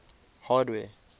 hardware